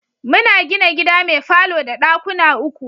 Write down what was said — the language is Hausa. Muna gina gida mai falo da ɗakuna uku.